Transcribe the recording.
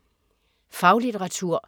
Faglitteratur